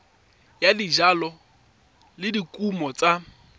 ya dijalo le dikumo tsa